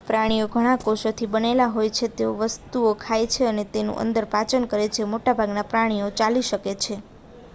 પ્રાણીઓ ઘણા કોષોથી બનેલા હોય છે તેઓ વસ્તુઓ ખાય છે અને તેનું અંદર પાચન કરે છે મોટાભાગના પ્રાણીઓ ચાલી શકે છે